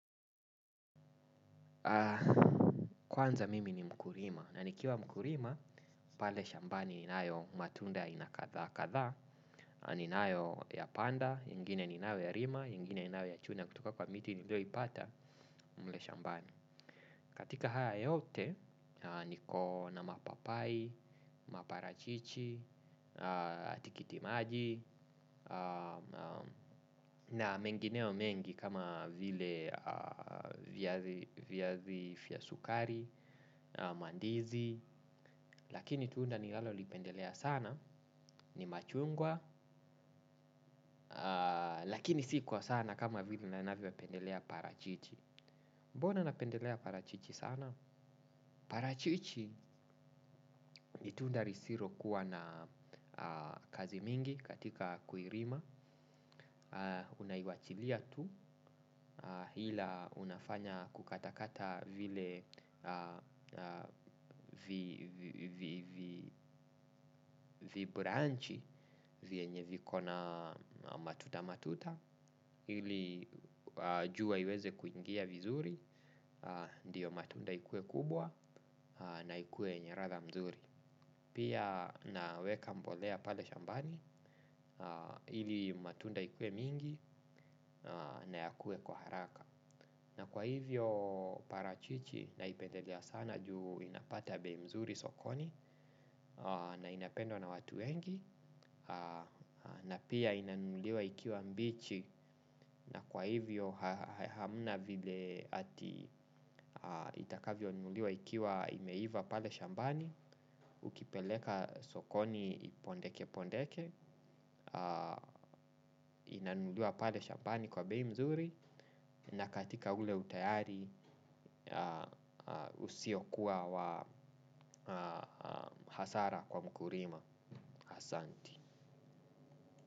Kwanza mimi ni mkulima na nikiwa mkulima pale shambani ninayo matunda ina kadha kadha. Ninayoyapanda, ingine inayo yalima, ingine inayo ya chuna kutoka kwa miti nilioipata mle shambani. Katika haya yote niko na mapapai, maparachichi, atikitimaji. Na mengineo mengi kama vile viazi vya sukari, mandizi. Lakini tunda nilalolipendelea sana, ni machungwa. Lakini si kwa sana kama vile na navyopendelea parachichi. Bona napendelea parachichi sana? Parachichi ni tunda lisilokuwa na kazi mingi katika kuirima. Unaiwachilia tu, hila unafanya kukatakata vile vibranchi vyenye viko na matuta matuta. Hili jua iweze kuingia vizuri, ndiyo matunda ikue kubwa na ikue yanye latha mzuri. Pia naweka mbolea pale shambani, ili matunda ikue mingi na yakue kwa haraka. Na kwa hivyo parachichi naipedelea sana juu inapata bei mzuri sokoni na inapendwa na watu wengi. Na pia inanunuliwa ikiwa mbichi na kwa hivyo hamna vile ati itakavyoinuliwa ikiwa imeiva pale shambani. Ukipeleka sokoni pondeke pondeke. Inanunuliwa pale shambani kwa bei nzuri. Na katika ule utayari usio kuwa wa hasara kwa mkulima asanti.